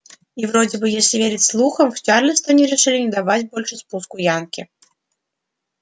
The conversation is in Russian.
и вроде бы если верить слухам в чарльстоне решили не давать больше спуску янки